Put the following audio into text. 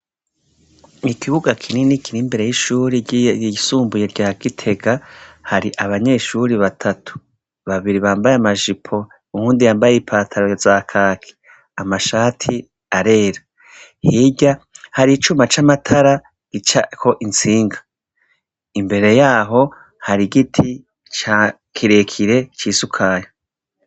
Ikibuga kinini kiri imbere y’ishure ryisumbuye rya Gitega, hari abanyeshure batatu bambaye amajipo uwundi yambaye ipantaro za kaki amashati arera, hirya hari icuma c’amatara gicako intsinga, imbere yaho hari igiti kirekire c’isukari.